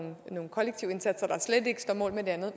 nogle kollektive indsatser der slet ikke står mål med det andet